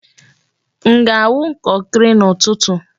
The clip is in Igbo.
M ga-awu kọnkri n'ụtụtụ?